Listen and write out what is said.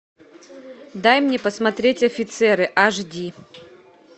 дай мне посмотреть офицеры аш ди